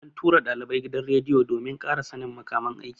An tura ɗalibai gidan rediyo domin ƙara sannin makaman aiki.